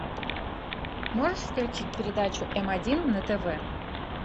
можешь включить передачу м один на тв